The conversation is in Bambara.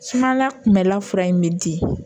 Sumala kunbɛla fura in bɛ di